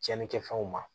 Tiɲɛnikɛfɛnw ma